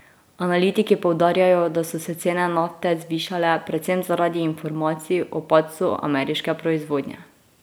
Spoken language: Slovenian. Analitiki poudarjajo, da so se cene nafte zvišale predvsem zaradi informacij o padcu ameriške proizvodnje.